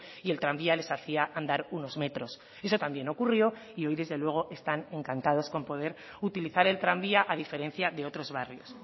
y el tranvía les hacía andar unos metros eso también ocurrió y hoy desde luego están encantados con poder utilizar el tranvía a diferencia de otros barrios